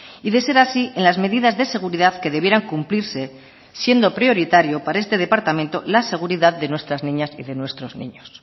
y de ser así en las medidas de seguridad que debieran cumplirse siendo prioritario para este departamento la seguridad de nuestras niñas y de nuestros niños